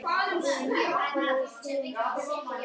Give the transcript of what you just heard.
Ég vona að þú hafir talað við Sigrúnu sálfræðing í gær.